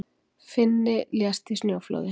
Finni lést í snjóflóði